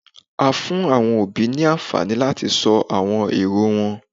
a fún awọn òbí ní anfani lati sọ awọn eró wọn